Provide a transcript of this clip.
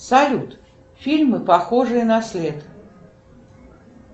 салют фильмы похожие на след